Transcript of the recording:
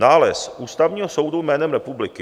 Nález Ústavního soudu jménem republiky.